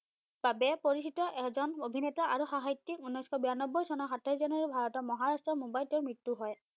বাবে পৰিচিত এজন অভিনেতা আৰু সাহিত্যিক, উনৈসশ বিৰান্নবৈ চনৰ সাতাইশ জানুৱাৰী ভাৰতৰ মহাৰাষ্ট্ৰৰ মুম্বাইত তেওঁৰ মৃত্যু হয়।